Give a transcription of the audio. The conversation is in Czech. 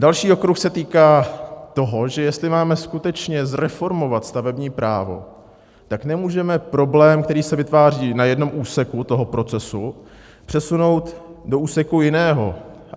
Další okruh se týká toho, že jestli máme skutečně zreformovat stavební právo, tak nemůžeme problém, který se vytváří na jednom úseku toho procesu, přesunout do úseku jiného.